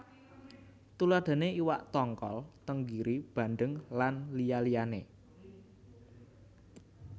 Tuladhané iwak tongkol tengiri bandeng lan liya liyané